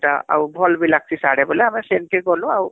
ଆଉ ଭଲ ବି ଲାଂଜିଛି ସାଡେ ବୋଲେ ଆମେ ସେନକି ଗଲୁ ଆଉ